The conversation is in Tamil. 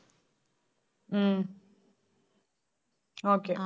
ஹம் okay